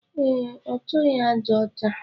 E, ọchọghi aja ọcha